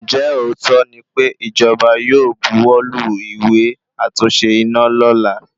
Ǹjẹ́ òótọ́ ní pé ìjọba yóò bu wọ́ lu ìwé àtúnṣe iná lọla